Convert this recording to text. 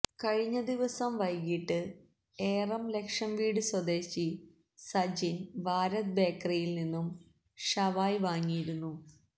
കഴിഞ്ഞ ദിവസം വൈകിട്ട് ഏറം ലക്ഷം വീട് സ്വദേശി സജിന് ഭാരത് ബേക്കറിയില് നിന്നും ഷവായ് വാങ്ങിയിരുന്നു